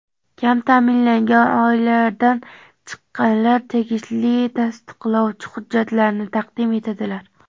kam taʼminlangan oilalardan chiqqanlar tegishli tasdiqlovchi hujjatlarni taqdim etadilar.